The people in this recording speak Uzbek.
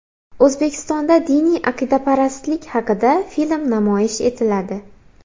O‘zbekistonda diniy aqidaparastlik haqida film namoyish etiladi.